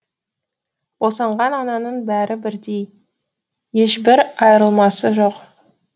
босанған ананың бәрі бірдей ешбір айырмасы жоқ